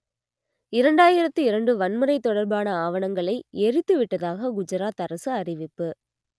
இரண்டாயிரத்து இரண்டு வன்முறை தொடர்பான ஆவணங்களை எரித்து விட்டதாக குஜராத் அரசு அறிவிப்பு